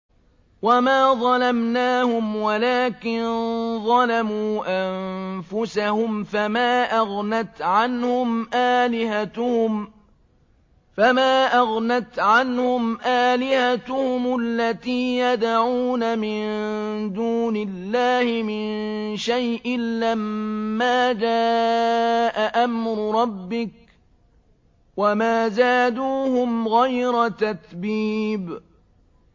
وَمَا ظَلَمْنَاهُمْ وَلَٰكِن ظَلَمُوا أَنفُسَهُمْ ۖ فَمَا أَغْنَتْ عَنْهُمْ آلِهَتُهُمُ الَّتِي يَدْعُونَ مِن دُونِ اللَّهِ مِن شَيْءٍ لَّمَّا جَاءَ أَمْرُ رَبِّكَ ۖ وَمَا زَادُوهُمْ غَيْرَ تَتْبِيبٍ